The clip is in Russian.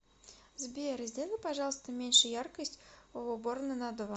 сбер сделай пожалуйста меньше яркость в уборной на два